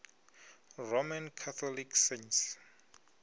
roman catholic saints